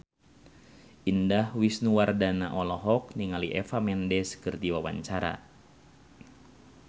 Indah Wisnuwardana olohok ningali Eva Mendes keur diwawancara